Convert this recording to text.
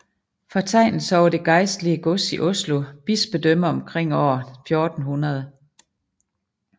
Fortegnelse over det geistlige gods i Oslo bispedømme omkring aar 1400